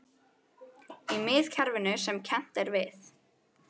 Í miðkerfinu sem kennt er við